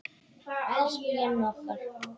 Elsku Jenni okkar.